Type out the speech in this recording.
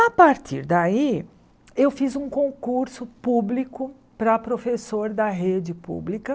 A partir daí, eu fiz um concurso público para professor da rede pública.